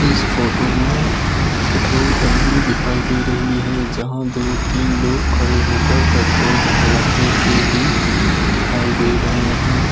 इस फोटो में पेट्रोल टंकी दिखाई दे रही है जहां दो तीन लोग खड़े होकर पेट्रोल भरवाते हुए भी दिखाई दे रहे हैं।